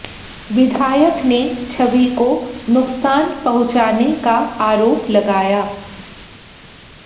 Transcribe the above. विधायक ने छवि को नुकसान पहुंचाने का आरोप लगाया